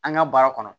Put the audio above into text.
An ka baara kɔnɔ